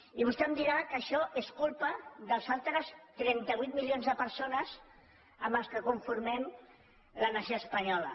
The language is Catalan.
i vostè em dirà que això és culpa dels altres trenta vuit milions de persones amb les quals conformem la nació espanyola